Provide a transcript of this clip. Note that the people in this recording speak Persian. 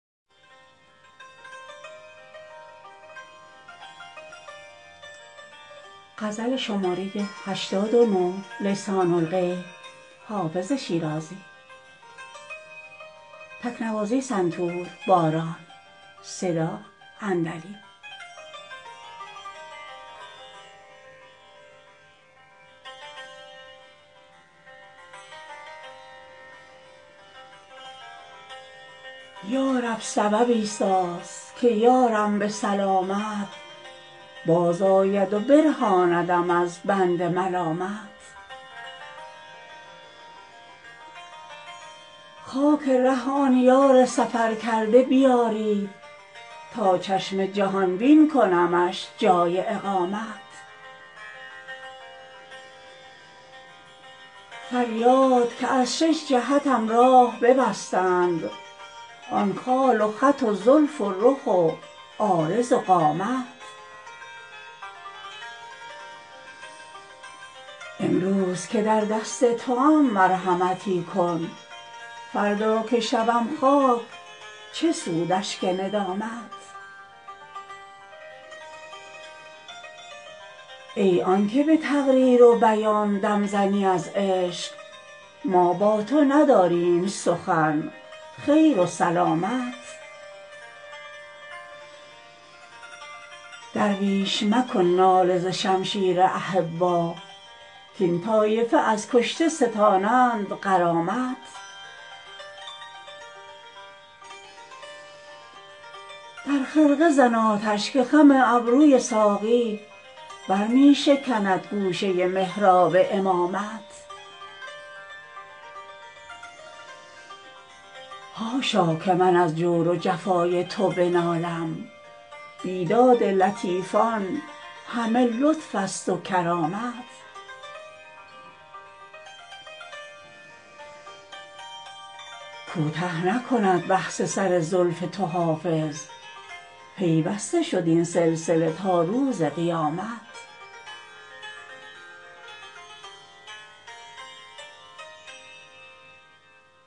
یا رب سببی ساز که یارم به سلامت بازآید و برهاندم از بند ملامت خاک ره آن یار سفرکرده بیارید تا چشم جهان بین کنمش جای اقامت فریاد که از شش جهتم راه ببستند آن خال و خط و زلف و رخ و عارض و قامت امروز که در دست توام مرحمتی کن فردا که شوم خاک چه سود اشک ندامت ای آن که به تقریر و بیان دم زنی از عشق ما با تو نداریم سخن خیر و سلامت درویش مکن ناله ز شمشیر احبا کاین طایفه از کشته ستانند غرامت در خرقه زن آتش که خم ابروی ساقی بر می شکند گوشه محراب امامت حاشا که من از جور و جفای تو بنالم بیداد لطیفان همه لطف است و کرامت کوته نکند بحث سر زلف تو حافظ پیوسته شد این سلسله تا روز قیامت